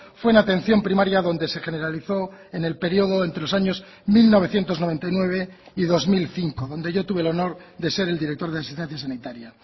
fue en atención primaria donde se generalizó en el periodo entre los años mil novecientos noventa y nueve y dos mil cinco donde yo tuve el honor de ser el director de asistencia sanitaria